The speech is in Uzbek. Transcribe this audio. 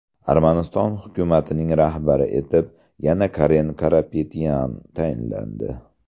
Armaniston hukumatining rahbari etib yana Karen Karapetyan tayinlandi.